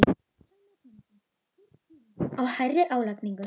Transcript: Telma Tómasson: Hver er skýringin á hærri álagningu?